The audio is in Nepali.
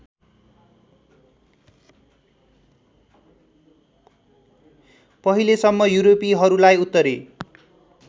पहिलेसम्म युरोपेलीहरूलाई उत्तरी